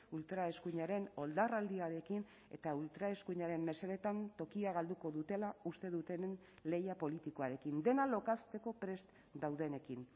ultraeskuinaren oldarraldiarekin eta ultraeskuinaren mesedetan tokia galduko dutela uste dutenen lehia politikoarekin dena lokazteko prest daudenekin